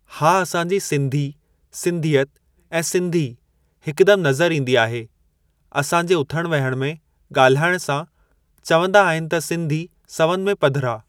हा असां जी सिंधी सिंधियत ऐं सिंधी हिकु दम नज़रि ईंदी आहे असां जे उथण वेहण में ॻाल्हाइण सां चवंदा आहिनि त सिंधी सवनि में पधरा।